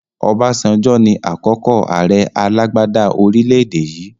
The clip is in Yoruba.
Obasanjo ni àkọ́kọ́ àrẹ alàgbàda orílédé yii